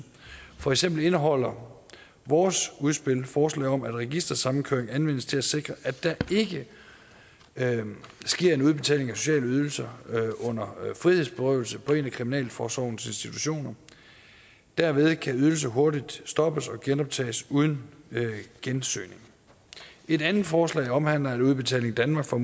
for eksempel indeholder vores udspil forslag om at registersamkøring anvendes til at sikre at der ikke sker en udbetaling af sociale ydelser under frihedsberøvelse på en af kriminalforsorgens institutioner derved kan ydelser hurtigt stoppes og genoptages uden gensøgning et andet forslag omhandler at udbetaling danmark får